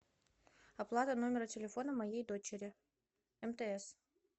оплата номера телефона моей дочери мтс